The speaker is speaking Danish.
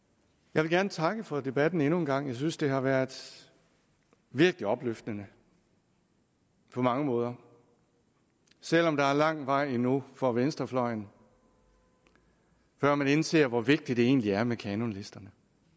jeg vil gerne takke for debatten endnu en gang jeg synes at den har været virkelig opløftende på mange måder selv om der er lang vej endnu for venstrefløjen før den indser hvor vigtigt det egentlig er med kanonlister